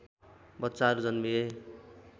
बच्चाहरू जन्मिए